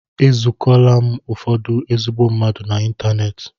E zukola m ụfọdụ ezigbo mmadụ n'ịntanetị.